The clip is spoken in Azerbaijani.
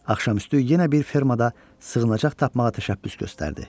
Axşamüstü yenə bir fermada sığınacaq tapmağa təşəbbüs göstərdi.